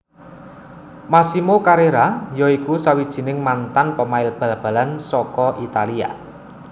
Massimo Carrera ya iku sawijining mantan pemain bal balan saka Italia